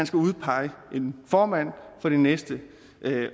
skal udpeges en formand for det næste år det